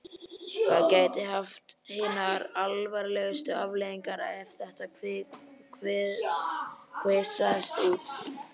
Það gæti haft hinar alvarlegustu afleiðingar ef þetta kvisaðist út.